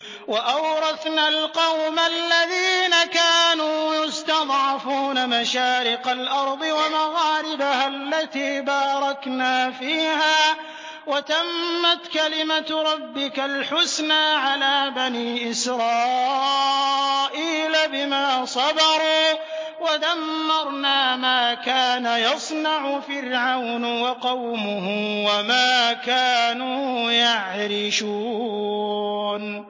وَأَوْرَثْنَا الْقَوْمَ الَّذِينَ كَانُوا يُسْتَضْعَفُونَ مَشَارِقَ الْأَرْضِ وَمَغَارِبَهَا الَّتِي بَارَكْنَا فِيهَا ۖ وَتَمَّتْ كَلِمَتُ رَبِّكَ الْحُسْنَىٰ عَلَىٰ بَنِي إِسْرَائِيلَ بِمَا صَبَرُوا ۖ وَدَمَّرْنَا مَا كَانَ يَصْنَعُ فِرْعَوْنُ وَقَوْمُهُ وَمَا كَانُوا يَعْرِشُونَ